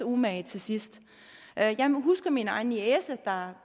umage til sidst jeg jeg husker min egen niece der